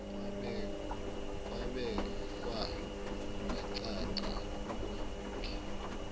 kwabekwa kwacaca kuningi